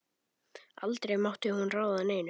Aldrei mátti hún ráða neinu.